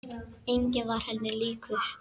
Enginn var henni líkur.